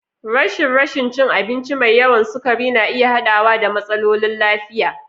Rashin rashin cin abinci mai yawan sukari na iya haɗawa da matsalolin lafiya.